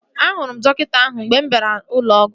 Ee, ahụrụ m dọkịta ahụ mgbe m bịara ụlọ ọgwụ